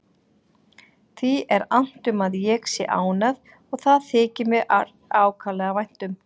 Því er annt um að ég sé ánægð og það þykir mér ákaflega vænt um.